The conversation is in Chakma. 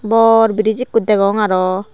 bor breeze ekko degong aro.